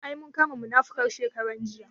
Ai mun kama munafukar nan shekaran jiya